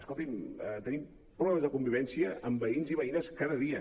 escolti’m tenim problemes de convivència amb veïns i veïnes cada dia